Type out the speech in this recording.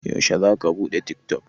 Yaushe za ka buɗe tik tok?